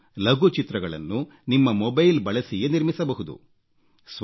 ನೀವು ಲಘು ಚಿತ್ರಗಳನ್ನು ನಿಮ್ಮ ಮೊಬೈಲ್ ಬಳಸಿಯೇ ನಿರ್ಮಿಸಬಹುದು